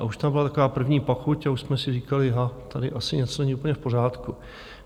A už tam byla taková první pachuť a už jsme si říkali ha, tady asi něco není úplně v pořádku.